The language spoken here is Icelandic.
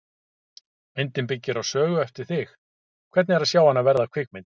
Myndin byggir á sögu eftir þig, hvernig er að sjá hana verða kvikmynd?